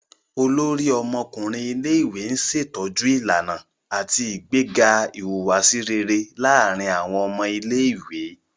Olórí ọmọkùnrin ilé-ìwé n ṣetọju ìlànà ati ìgbéga ìhùwàsí réré láàrin awọn ọmọ ilé-ìwé